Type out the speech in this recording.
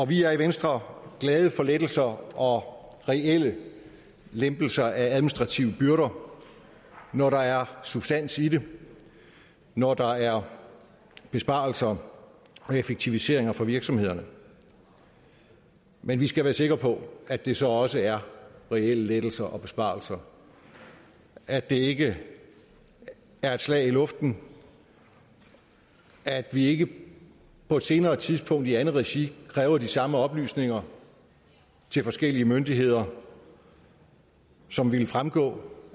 vi er i venstre glade for lettelser og reelle lempelser af administrative byrder når der er substans i det når der er besparelser og effektiviseringer for virksomhederne men vi skal være sikre på at det så også er reelle lettelser og besparelser at det ikke er et slag i luften at vi ikke på et senere tidspunkt i andet regi kræver de samme oplysninger til forskellige myndigheder som ville fremgå